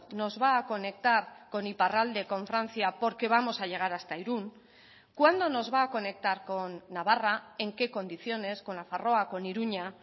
nos va a conectar con iparralde con francia porque vamos a llegar hasta irún cuándo nos va a conectar con navarra en qué condiciones con nafarroa con iruña